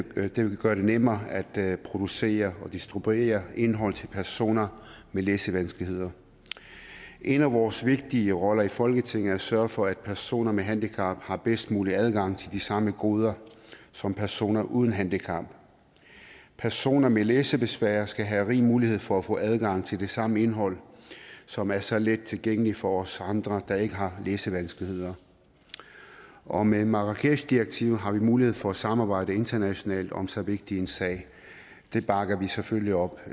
gøre det nemmere at producere og distribuere indhold til personer med læsevanskeligheder en af vores vigtige roller i folketinget er at sørge for at personer med handicap har bedst mulig adgang til de samme goder som personer uden handicap personer med læsebesvær skal have rig mulighed for at få adgang til det samme indhold som er så let tilgængeligt for os andre der ikke har læsevanskeligheder og med marrakeshdirektivet har vi mulighed for at samarbejde internationalt om så vigtig en sag det bakker vi selvfølgelig op